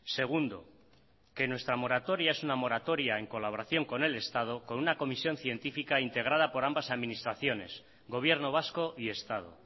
segundo que nuestra moratoria es una moratoria en colaboración con el estado con una comisión científica integrada por ambas administraciones gobierno vasco y estado